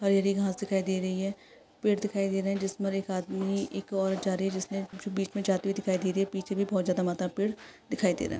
हरी हरी घाँस दिखाई दे रही है। पेड़ दिखाई दे रहे है। जिस पर एक आदमी एक औरत जा रही है। जिसने बीच मे जाती हुई दिखाई दे रही है। पीछे भी बहोत ज्यादा मात्रा मै पेड़ दिखाई दे रहा है।